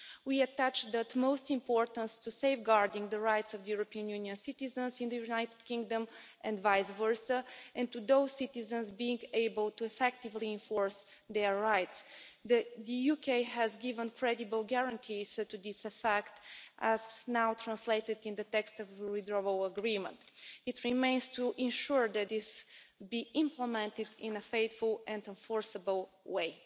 We attach the utmost importance to safeguarding the rights of European Union citizens in the United Kingdom and vice versa, and to those citizens being able to effectively enforce their rights. The UK has given credible guarantees to this effect, as now translated in the text of the Withdrawal Agreement. It remains to ensure that this is implemented in a faithful and enforceable way.